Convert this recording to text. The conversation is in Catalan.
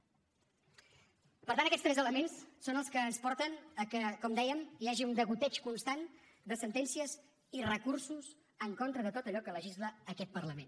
per tant aquests tres elements són els que ens porten que com dèiem hi hagi un degoteig constant de sentències i recursos en contra de tot allò que legisla aquest parlament